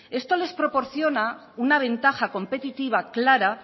esto les proporciona una ventaja competitiva clara